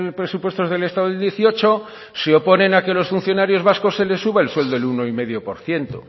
presupuestos del estado del dieciocho se oponen a que a los funcionarios vascos se les suba el sueldo el uno coma cinco por ciento